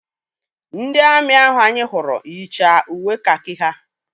Ndị amị ahụ anyị hụrụ yicha uwe kakị ha.